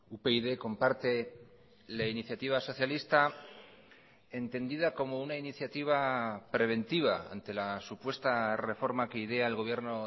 upyd comparte la iniciativa socialista entendida como una iniciativa preventiva ante la supuesta reforma que idea el gobierno